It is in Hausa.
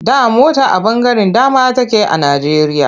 Da mota a ɓangaren dama take a Najjeriya.